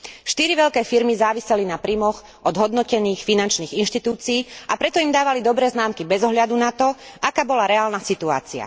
Štyri veľké firmy záviseli na príjmoch od hodnotených finančných inštitúcií, a preto im dávali dobré známky bez ohľadu na to, aká bola reálna situácia.